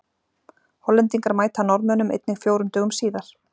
Hollendingar mæta Norðmönnum einnig fjórum dögum síðar.